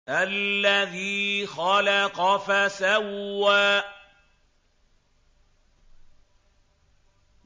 الَّذِي خَلَقَ فَسَوَّىٰ